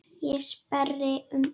Ég sperri eyrun.